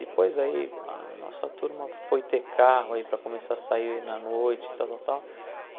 Depois aí, a nossa turma foi ter carro aí para começar a sair na noite, tal, tal, tal.